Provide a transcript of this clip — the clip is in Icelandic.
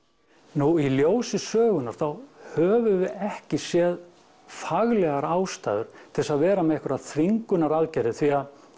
nú í ljósi sögunnar þá höfum við ekki séð faglegar ástæður til þess að vera með einhverjar þvingunaraðgerðir því að